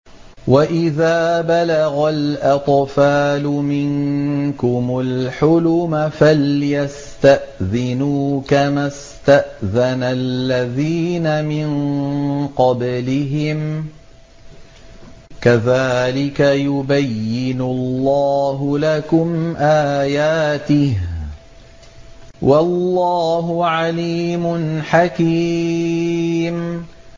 وَإِذَا بَلَغَ الْأَطْفَالُ مِنكُمُ الْحُلُمَ فَلْيَسْتَأْذِنُوا كَمَا اسْتَأْذَنَ الَّذِينَ مِن قَبْلِهِمْ ۚ كَذَٰلِكَ يُبَيِّنُ اللَّهُ لَكُمْ آيَاتِهِ ۗ وَاللَّهُ عَلِيمٌ حَكِيمٌ